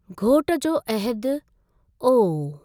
घोटु जो अहदु : ओह!